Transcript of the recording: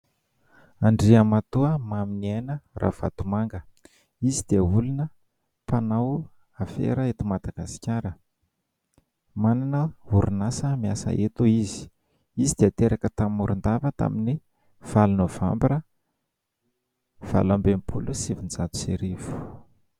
Andriamatoa Maminiaina Ravatomanga. Izy dia olona mpanao afera eto Madagasikara. Manana orinasa miasa eto izy. Izy dia teraka tany Morondava tamin'ny valo Nôvambra, valo amby enimpolo sy sivinjato sy arivo.